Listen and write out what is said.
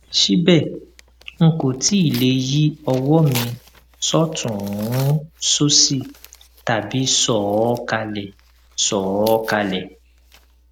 síbẹ n kò tíì lè yí ọwọ mi sọtùnún sósì tàbí sọ ọ kalẹ sọ ọ kalẹ